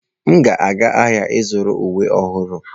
M ga-aga ahịa ịzụrụ uwe ọhụrụ.